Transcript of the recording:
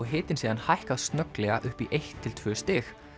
hitinn síðan hækkað snögglega upp í eitt til tvö stig